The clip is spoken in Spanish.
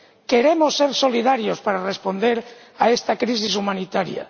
queremos ser solidarios para responder a esta crisis humanitaria